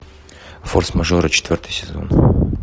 форс мажоры четвертый сезон